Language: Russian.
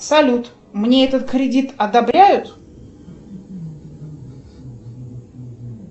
салют мне этот кредит одобряют